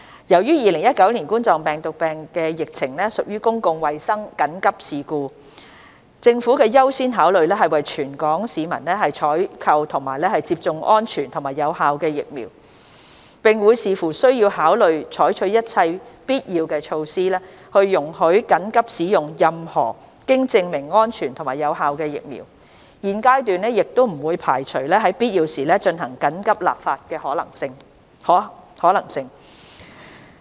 由於2019冠狀病毒病疫情屬公共衞生緊急事故，政府的優先考慮是為全港市民採購及接種安全及有效的疫苗，並會視乎需要考慮採取一切必要措施，容許緊急使用任何經證明安全及有效的疫苗，現階段不會排除在必要時進行緊急立法的可能性。